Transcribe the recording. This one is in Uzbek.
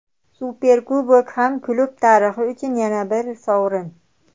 Superkubok ham klub tarixi uchun yana bir sovrin.